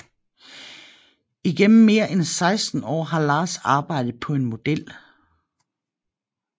Igennem mere end 16 år har Lars arbejdet på en model